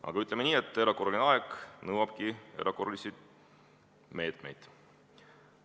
Aga ütleme nii, et erakorraline aeg nõuabki erakorralisi meetmeid.